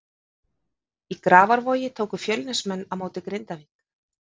Í Grafarvogi tóku Fjölnismenn á móti Grindavík.